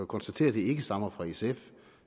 konstatere at det ikke stammer fra sf